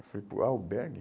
Eu falei, pô, albergue?